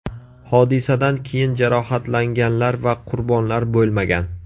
Hodisadan keyin jarohatlanganlar va qurbonlar bo‘lmagan.